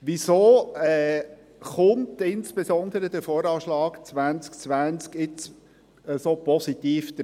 Weshalb sieht jetzt insbesondere der VA 2020 so positiv aus?